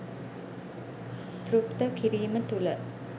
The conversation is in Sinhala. තෘප්ත කිරීම තුළ